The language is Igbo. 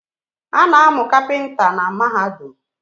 Ana amu kapinta na Mahadum